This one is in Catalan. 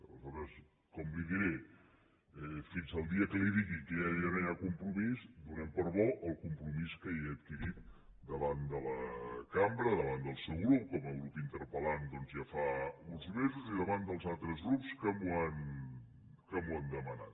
a leshores com li ho diré fins al dia que li digui que ja no hi ha compromís donem per bo el compromís que ja he adquirit davant de la cambra davant del seu grup com a grup interpel·lant doncs ja fa uns mesos i davant dels altres grups que m’ho han demanat